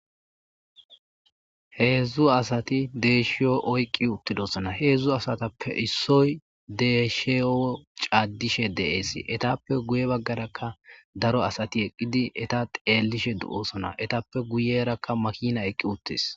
Hezhu asati deyshiyo oyqi uttida aadanne aadanne aadhdhana aadhdhana aadhdhana azas desosona